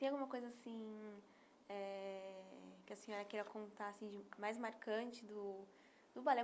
Tem alguma coisa assim eh que a senhora queira contar assim, de mais marcante, do balé?